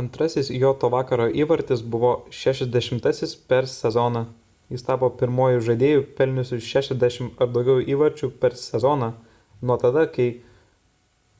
antrasis jo to vakaro įvartis buvo jo 60-asis per sezoną jis tapo pirmuoju žaidėju pelniusiu 60 ar daugiau įvarčių per sezoną nuo tada kai